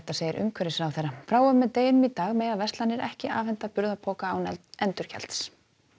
segir umhverfisráðherra frá og með deginum í dag mega verslanir ekki afhenda burðarpoka án endurgjalds